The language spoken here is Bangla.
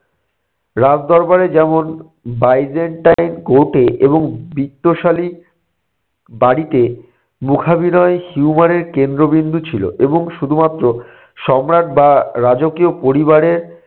রাজ দরবারে যেমন বাইজেন্টাইন court এ এবং বৃত্তশালী বাড়িতে মুখাভিনয় humour এর কেন্দ্রবিন্দু ছিল এবং শুধুমাত্র সম্রাট বা রাজকীয় পরিবারের